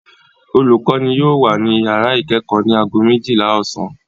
Olùkọ́ní yóò wà ní ìyàrá ìkẹ́kọ̀ọ́ ní ago méjìlá ọ̀sán.